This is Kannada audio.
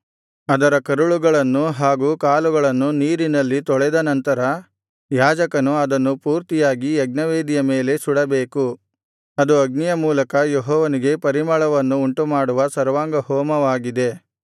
ಅದರ ಕರುಳುಗಳನ್ನು ಹಾಗು ಕಾಲುಗಳನ್ನು ನೀರಿನಲ್ಲಿ ತೊಳೆದನಂತರ ಯಾಜಕನು ಅದನ್ನು ಪೂರ್ತಿಯಾಗಿ ಯಜ್ಞವೇದಿಯ ಮೇಲೆ ಸುಡಬೇಕು ಅದು ಅಗ್ನಿಯ ಮೂಲಕ ಯೆಹೋವನಿಗೆ ಪರಿಮಳವನ್ನು ಉಂಟುಮಾಡುವ ಸರ್ವಾಂಗಹೋಮವಾಗಿದೆ